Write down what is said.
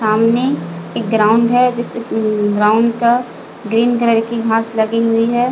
सामने एक ग्राउंड है जिस अ ग्राउंड का ग्रीन कलर की घास लगी हुई है।